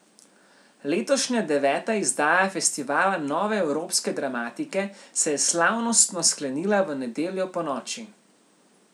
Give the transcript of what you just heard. Letošnja deveta izdaja festivala nove evropske dramatike se je slavnostno sklenila v nedeljo ponoči.